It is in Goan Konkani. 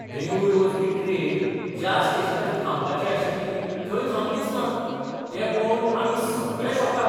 बेंगळूर वचपी ट्रेन ज्या स्टेशनाचेर थांबपाची आशिल्ली थंय थांबलीच ना, तें पळोवन आमी सगळें शॉकाद.